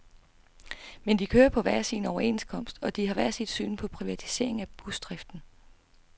Men de kører på hver sin overenskomst, og de har hver sit syn på privatisering af busdriften.